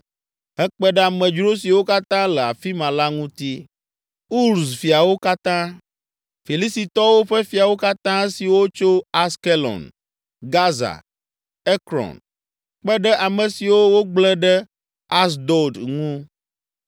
hekpe ɖe amedzro siwo katã le afi ma la ŋuti, Uz fiawo katã, Filistitɔwo ƒe fiawo katã esiwo tso Askelon, Gaza, Ekron, kpe ɖe ame siwo wogblẽ ɖe Asdod ŋu.